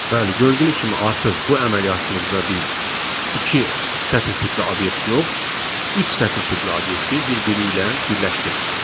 Bəli, gördüyünüz kimi artıq bu əməliyyatımızda biz iki sətr tipli obyekt yox, üç sətr tipli obyekti bir-biri ilə birləşdirdik.